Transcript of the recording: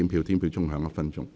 表決鐘會響1分鐘。